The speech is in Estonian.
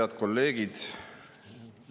Head kolleegid!